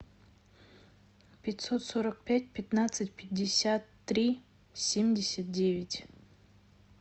пятьсот сорок пять пятнадцать пятьдесят три семьдесят девять